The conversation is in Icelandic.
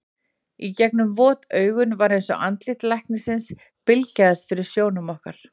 Í gegnum vot augun var eins og andlit læknisins bylgjaðist fyrir sjónum okkar.